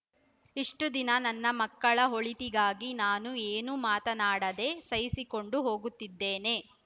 ಇಷ್ಟುದಿನ ನನ್ನ ಮಕ್ಕಳ ಒಳಿತಿಗಾಗಿ ನಾನು ಏನೂ ಮಾತನಾಡದೆ ಸಹಿಸಿಕೊಂಡು ಹೋಗುತ್ತಿದ್ದೇನೆ